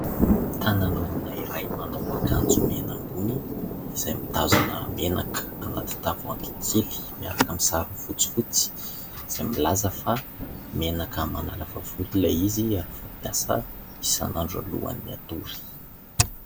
Tanan'olona iray manao akanjo mena ambony, izay mitazona menaka anaty tavoahangy kely miaraka amin'ny sarony fotsifotsy, izay milaza fa : "menaka manalava volo" ilay izy ary fampiasa isan'andro alohan'ny hatory.